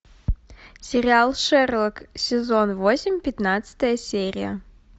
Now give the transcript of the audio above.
сериал шерлок сезон восемь пятнадцатая серия